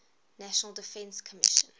national defense commission